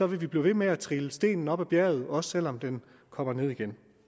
vil vi blive ved med at trille stenen op ad bjerget også selv om den kommer ned igen